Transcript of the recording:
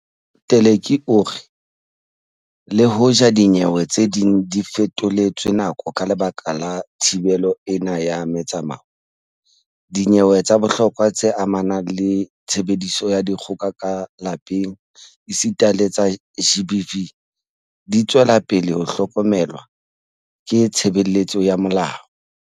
Teleki o re le hoja dinyewe tse ding di fetoletswe nako ka lebaka la thibelo ena ya metsamao, dinyewe tsa bohlokwa tse amanang le tshebediso ya dikgoka ka lapeng esita le tsa GBV di tswela pele ho hlokomelwa ke tshebeletso ya molao.